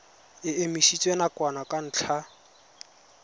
e emisitswe nakwana ka ntlha